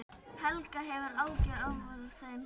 Helga: Hefurðu áhyggjur af þeim?